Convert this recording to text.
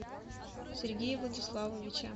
сергея владиславовича